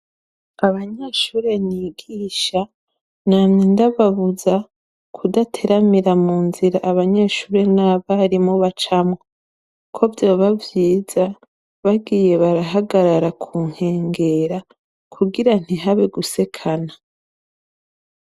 Abanyeshuri nigisha namye ndababuza kudateramira mu nzira, Abanyeshuri n'abarimo bacamo ko byo babyiza bagiye barahagarara kunkengera kugira ntihabe gusekana.